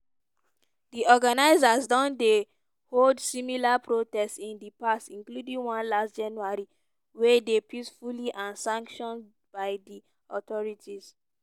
di organisers don don dey hold similar protests in di past including one last january whey dey peaceful and sanction by di authorities.